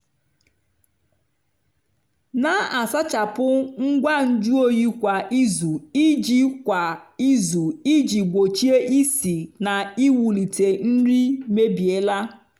na-asachapụ ngwa nju oyi kwa izu iji kwa izu iji gbochie isi na iwulite nri mebiela.